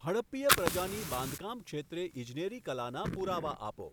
હડપ્પીય પ્રજાની બાંધકામક્ષેત્રે ઈજનેરી કલાના પુરાવા આપો.